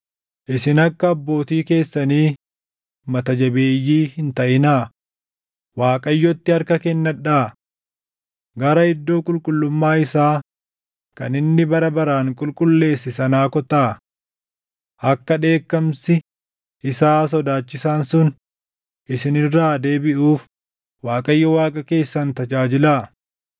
Isin akka abbootii keessanii mata jabeeyyii hin taʼinaa; Waaqayyootti harka kennadhaa. Gara iddoo qulqullummaa isaa kan inni bara baraan qulqulleesse sanaa kottaa. Akka dheekkamsi isaa sodaachisaan sun isin irraa deebiʼuuf Waaqayyo Waaqa keessan tajaajilaa.